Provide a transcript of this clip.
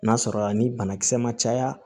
N'a sɔrɔ a ni banakisɛ ma caya